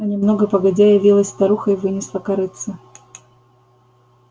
а немного погодя явилась старуха и вынесла корытце